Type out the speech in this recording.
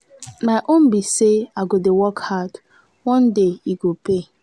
my own be say i go dey work hard one day e go pay.